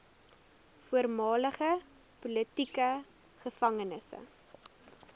voormalige politieke gevangenes